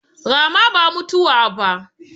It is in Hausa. Rama ba mutuwa ba